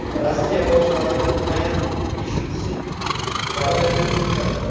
Rossiya bosh vaziri Mixail Mishustin koronavirusga chalindi.